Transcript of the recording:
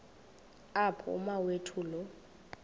apho umawethu lo